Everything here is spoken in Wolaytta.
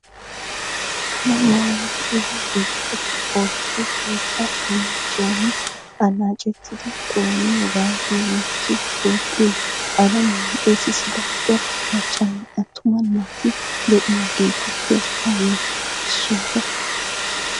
Alamiyaani de'iya bittati oottiyo wottaa annaacciyaani annaccettidi xooniyogan nu biittiyo toophphiyo alamiyan xeesissida cora maccanne attuma naati de'iyageetuppe hageeti issoota.